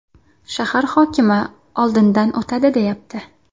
shahar hokimi oldidan o‘tadi deyapti.